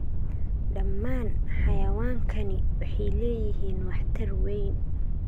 Dhammaan xayawaankani waxay leeyihiin waxtar weyn.